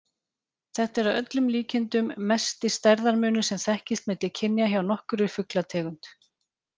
Þetta er að öllum líkindum mesti stærðarmunur sem þekkist milli kynja hjá nokkurri fuglategund.